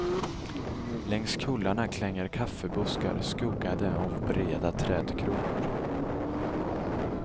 Längs kullarna klänger kaffebuskar skuggade av breda trädkronor.